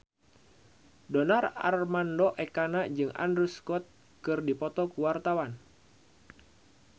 Donar Armando Ekana jeung Andrew Scott keur dipoto ku wartawan